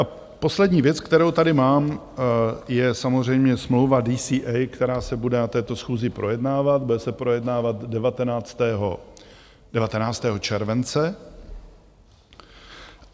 A poslední věc, kterou tady mám, je samozřejmě smlouva DCA, která se bude na této schůzi projednávat, bude se projednávat 19. července.